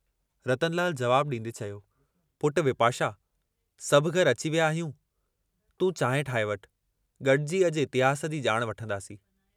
रतनलाल जवाब डींदे चयो, "पुट, विपाशा सभु घर अची विया आहियूं, तूं चांहि ठाहे वठु, गडिजी अजु इतिहास जी जाण वठंदासीं।